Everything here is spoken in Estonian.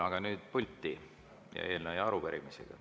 Aga nüüd pulti eelnõu või arupärimisega.